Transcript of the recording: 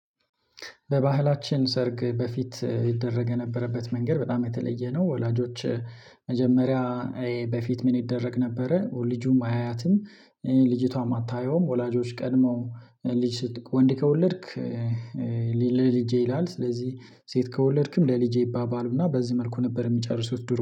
በባህላችን ሰርግ በፊት ይደረግ የነበረበት መንገድ በጣም የተለየ ነው። ወላጆች መጀመሪያ በፊት ምን ይደረግ ነበረ? ልጁም አያያትም ልጅቷም አታየውም። ወላጆች ቀድመው ልጅ ወንድ ከወለድክ ለልጄ ይላል። ስለዚህ ሴት ከወለድክም ለልጄ ይባባሉና በዚህ መልኩ ነበር የሚጨርሱት ዱሮ